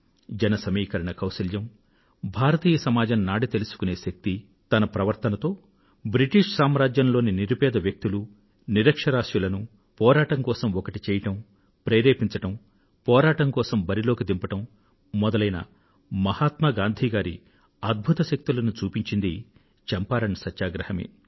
జన సమీకరణ కౌశల్యం భారతీయ సమాజం నాడి తెలుసుకునే శక్తి తన ప్రవర్తనతో బ్రిటిష్ సామ్రాజ్యంలోని నిరుపేద వ్యక్తులు నిరక్షరాస్యులను పోరాటం కోసం ఒకటి చేయడం ప్రేరేపించడం పోరాటం కోసం బరి లోకి దింపడం మొదలైన మహాత్మా గాంధీ గారి అద్భుత శక్తులను చూపించింది చంపారణ్ సత్యాగ్రహమే